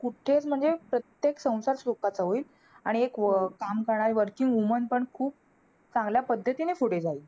कुठेच म्हणजे प्रत्येक संसार सुखाचा होईल. आणि एक अं काम करणारी working woman पण खूप चांगल्या पद्धतीने पुढे जाईल.